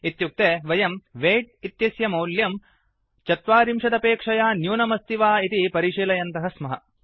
इत्युक्ते वयं weight weight इत्यस्य मौल्यं चत्वारिंशदपेक्षया न्यूनम् अस्ति वा इति परिशीलयन्तः स्मः